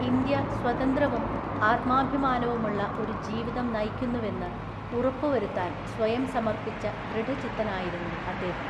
India സ്വതന്ത്രവും, ആത്മാഭിമാനവുമുള്ള ഒരു ജീവിതം നയിക്കുന്നുവെന്ന് ഉറപ്പ് വരുത്താന്‍ സ്വയം സമര്‍പ്പിച്ച ദൃഢചിത്തനായിരുന്നു അദ്ദേഹം.